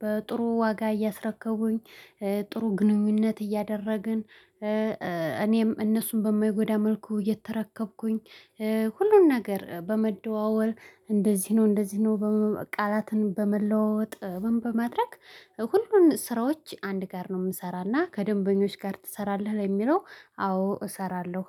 በጥሩ ዋጋ እያስረከቡኝ። ጥሩ ግንኙነት እያደረግን። እኔም እነሱን በማይጎዳ መልኩ እየተረከብኩኝ። ሁሉን ነገር በመደዋወለ እንደዚህ ነው እንደዚህ ነው ቃላትን በመለዋወጥ በማድረግ። ሁሉን ስራዎች አንድ ጋር ነው የምሰራና ከደንበኞች ጋር ትሰራለህ ለሚለው? አዎ እሰራለሁ